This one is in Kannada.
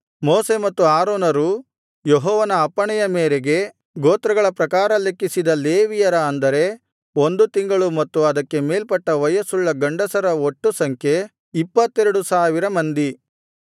ಮೋಶೆ ಮತ್ತು ಆರೋನರು ಯೆಹೋವನ ಅಪ್ಪಣೆಯ ಮೇರೆಗೆ ಗೋತ್ರಗಳ ಪ್ರಕಾರ ಲೆಕ್ಕಿಸಿದ ಲೇವಿಯರ ಅಂದರೆ ಒಂದು ತಿಂಗಳು ಮತ್ತು ಅದಕ್ಕೆ ಮೇಲ್ಪಟ್ಟ ವಯಸ್ಸುಳ್ಳ ಗಂಡಸರ ಒಟ್ಟು ಸಂಖ್ಯೆ 22000 ಮಂದಿ